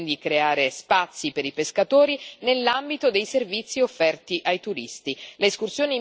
È necessario quindi creare spazi per i pescatori nell'ambito dei servizi offerti ai turisti.